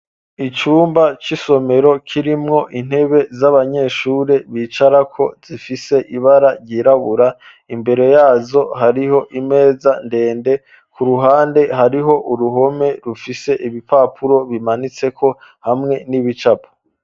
Icumba c'isomero kirimwo intebe z'abanyeshuri bicarako zifise ibara ryirabura, imbere yazo hariho imeza ndende, ku ruhande hariho uruhome rufise ibipapuro bimanitseko hamwe n'ibicapo.